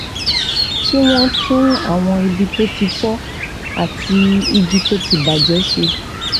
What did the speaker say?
kí wón tún àwọn ibi tó ti fó àti igi tó ti bà jé ṣe